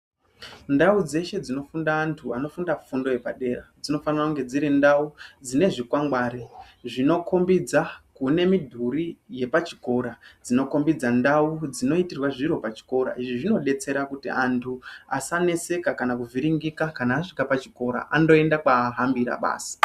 Ndau dzeshe dzinofunda antu anofunda fundo yepadera dzinofanire kunge dzirindau dzinezvikwangwari zvinokhombidza kune midhuri yepachikora, dzinokhombidza ndau dzinoitirwe zviro pachikora izvi zvinodetsera kuti antu asaneseka kana kuti kuvhiringika kana asvika pachikora, andoenda kwaahambira basi.